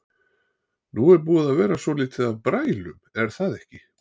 Nú er búið að vera svolítið af brælum er það ekki?